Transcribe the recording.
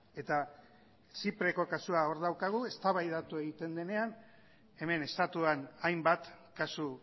eta zipreko kasua hor daukagu eztabaidatu egiten denean hemen estatuan hainbat kasu